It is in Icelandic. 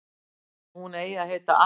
Hún eigi að heita Atlanta